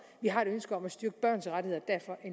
vi har et ønske om at styrke børns rettigheder